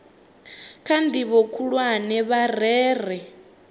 kha ndivho khulwane vha rere